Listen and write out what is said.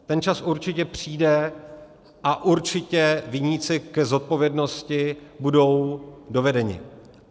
Ten čas určitě přijde a určitě viníci k zodpovědnosti budou dovedeni.